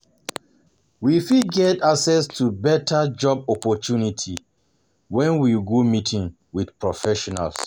We fit get access to better job opportunity when we go meeting with professionals